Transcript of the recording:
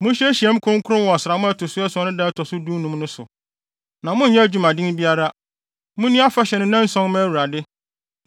“ ‘Monyɛ nhyiamu kronkron wɔ ɔsram a ɛto so ason no da a ɛto so dunum no so, na monnyɛ adwumaden biara. Munni afahyɛ no nnanson mma Awurade.